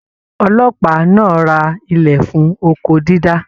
Ọlọ́pàá náà rà ilẹ fún oko dídá.